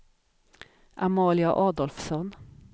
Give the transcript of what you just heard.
Amalia Adolfsson